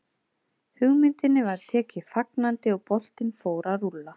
Hugmyndinni var tekið fagnandi og boltinn fór að rúlla.